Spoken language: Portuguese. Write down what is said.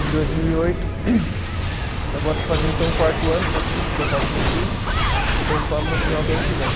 Em dois mil e oito, agora estou fazendo então o quarto ano, são cinco porque eu faço noturno, então eu formo no final do ano que vem.